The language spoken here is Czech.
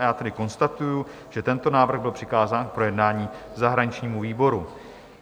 A já tedy konstatuji, že tento návrh byl přikázán k projednání zahraničnímu výboru.